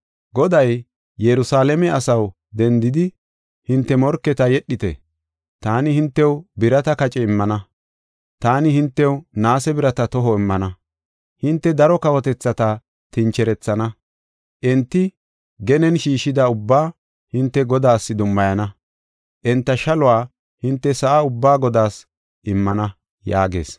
Goday, “Yerusalaame asaw, dendidi, hinte morketa yedhite. Taani hintew birata kace immana; taani hintew naase birata toho immana. Hinte daro kawotethata tincherethana; enti genen shiishida ubbaa hinte Godaas dummayana; enta shaluwa hinte sa7a ubbaa Godaas immana” yaagees.